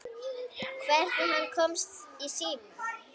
Hvernig hann komst í síma.